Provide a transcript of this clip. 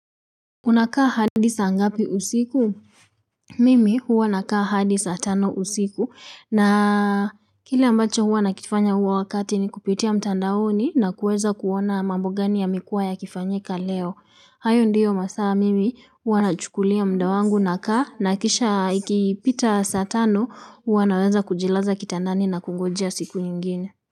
Unakaa hadi saa ngapi usiku? Mimi huwa nakaa hadi saa tano usiku na kile ambacho huwa nakifanya huwa wakati nikupitia mtandaoni na kuweza kuona ni mambo gani yamekuwa yakifanyika leo. Hayo ndiyo masaa mimi huwa nachukulia muda wangu nakaa, na kisha ikipita saa tano huwa naweza kujilaza kitandani na kungojea siku nyingine.